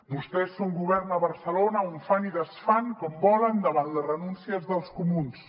vostès són govern a barcelona on fan i desfan com volen davant les renúncies dels comuns